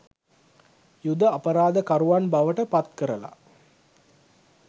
යුධ අපරාධ කරුවන් බවට පත්කරල.